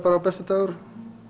besti dagur